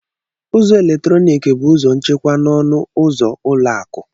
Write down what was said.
ụzọ eletrọnịkị bụ ụzọ nchekwa n'ọnụ ụzọ ụlọ akụ.